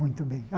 Muito bem.